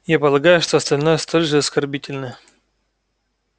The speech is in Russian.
я полагаю что остальные столь же оскорбительное